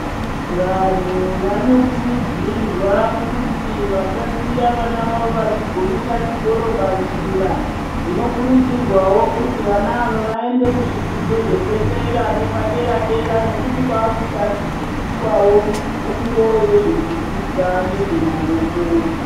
Vanhu vanokurudzirwa kuti vasasiya vana vavo vachigumira chikoro panzira. Zvinokurudzirwa wo vana ava vaende kuzvidzidzo zvepadera nezvepadera dera nekuti kwakudzidziswawo fundo yezvezvidzidzo zvemaoko.